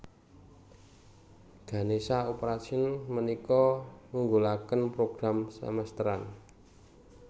Ganesha Operation menika ngunggulaken program semesteran